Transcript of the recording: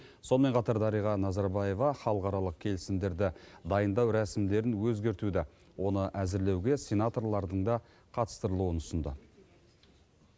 сонымен қатар дариға назарбаева халықаралық келісімдерді дайындау рәсімдерін өзгертуді оны әзірлеуге сенаторлардың да қатыстырылуын ұсынды